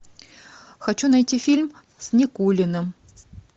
хочу найти фильм с никулиным